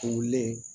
Turulen